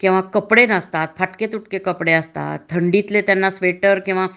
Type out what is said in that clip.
किंवा कपडे नसतात . फटके – तुटके कपडे असतात . थंडीतले त्यांना स्वइटर किंवा